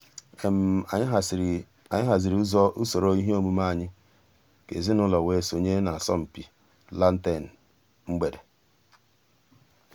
ànyị̀ hàzìrì ǔsòrò ìhè òmùmè ànyị̀ kà èzìnùlọ̀ wée sọǹyé n'àsọ̀mpị lantern mgbèdè.